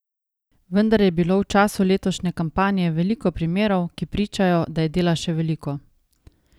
Vendar je bilo v času letošnje kampanje veliko primerov, ki pričajo, da je dela še veliko.